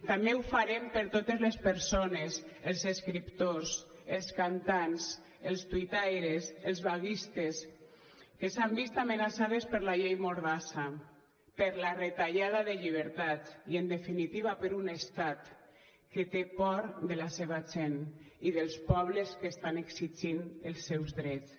també ho farem per totes les persones els escriptors els cantants els tuitaires els vaguistes que s’han vist amenaçades per la llei mordassa per la retallada de llibertats i en definitiva per un estat que té por de la seva gent i dels pobles que estan exigint els seus drets